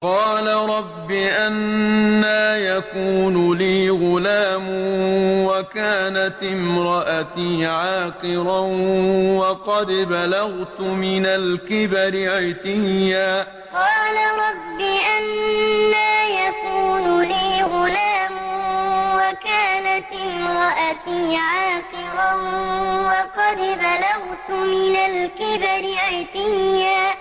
قَالَ رَبِّ أَنَّىٰ يَكُونُ لِي غُلَامٌ وَكَانَتِ امْرَأَتِي عَاقِرًا وَقَدْ بَلَغْتُ مِنَ الْكِبَرِ عِتِيًّا قَالَ رَبِّ أَنَّىٰ يَكُونُ لِي غُلَامٌ وَكَانَتِ امْرَأَتِي عَاقِرًا وَقَدْ بَلَغْتُ مِنَ الْكِبَرِ عِتِيًّا